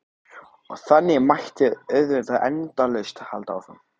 Og þannig mætti auðvitað endalaust halda áfram.